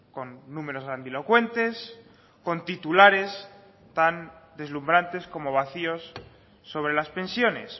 con números grandilocuentes con titulares tan deslumbrantes como vacíos sobre las pensiones